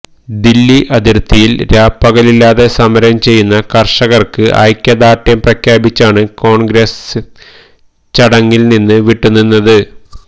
ദില്ലി അതിര്ത്തിയില് രാപ്പകലില്ലാതെ സമരം ചെയ്യുന്ന കര്ഷകര്ക്ക് ഐക്യദാര്ണ്ഡ്യം പ്രഖ്യാപിച്ചാണ് കോണ്ഗ്രസ് ചടങ്ങില് നിന്ന് വിട്ടുനിന്നത്